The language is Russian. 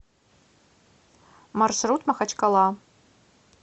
маршрут махачкала